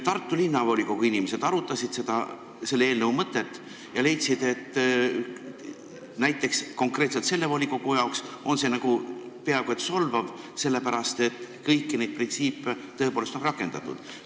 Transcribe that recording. Tartu Linnavolikogu inimesed arutasid selle eelnõu mõtet ja leidsid, et näiteks konkreetselt sellele volikogule on see peaaegu solvav, sellepärast et kõiki neid printsiipe on seal tõepoolest rakendatud.